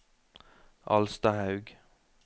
Alstahaug